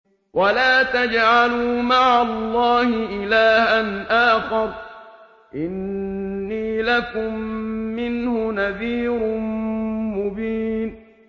وَلَا تَجْعَلُوا مَعَ اللَّهِ إِلَٰهًا آخَرَ ۖ إِنِّي لَكُم مِّنْهُ نَذِيرٌ مُّبِينٌ